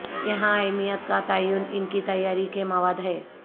یہاں اہمیت کا تعین ان کی تیاری کے مواد ہے